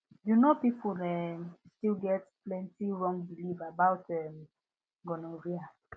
you know people um still get plenty wrong belief about um gonorrhea